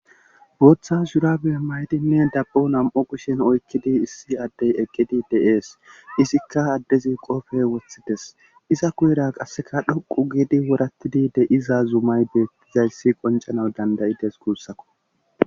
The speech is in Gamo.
Booththa shurabe maydinne dabbo nam'o kushen oykkidi issi addey eqqidi de7ees izikka addezi qoofey wothides iza kuyera qasseka dhoqu giidi worattidide iza zumayde zayssi qoncana dandayites guussako.